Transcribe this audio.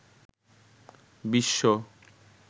বিশ্ব